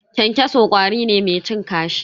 Kyankyaso ƙwari ne mai cin kashi.